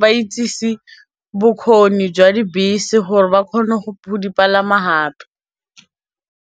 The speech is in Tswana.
ba itsese bokgoni jwa dibese gore ba kgone go di palama gape.